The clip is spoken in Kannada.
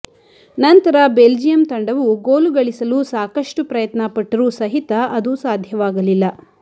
ನಂತರ ಬೆಲ್ಜಿಯಂ ತಂಡವು ಗೋಲು ಗಳಿಸಲು ಸಾಕಷ್ಟು ಪ್ರಯತ್ನ ಪಟ್ಟರೂ ಸಹಿತ ಅದು ಸಾಧ್ಯವಾಗಲಿಲ್ಲ